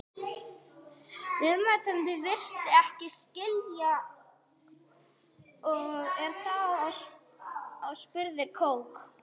Viðmælandi virðist ekki skilja og er þá spurður Kók?